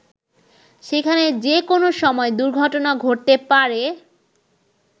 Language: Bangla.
সেখানে যে কোনো সময় দুর্ঘটনা ঘটতে পারে।